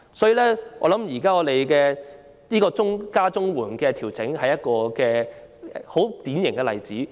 今次提高領取長者綜援年齡的調整，我認為正是一個典型例子。